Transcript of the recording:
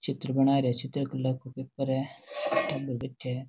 चित्र बनायेरा है चित्रकला का पेपर है टाबर बैठया है।